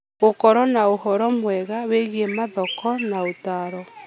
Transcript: Gũgĩkorwo na ũhoro mwega wĩgie mathoko na ũtaaro